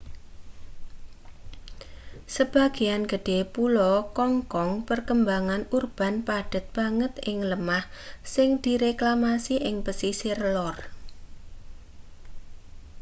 sebagean gedhe pulo kong kong perkembangan urban padhet banget ing lemah sing direklamasi ing pesisir lor